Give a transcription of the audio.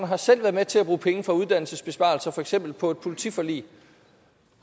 har selv været med til at bruge penge fra uddannelsesbesparelser for eksempel på et politiforlig